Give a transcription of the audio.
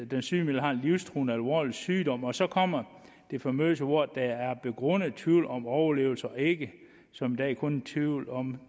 den sygemeldte har en livstruende alvorlig sygdom og så kommer de famøse ord der er begrundet tvivl om overlevelse og ikke som i dag kun tvivl om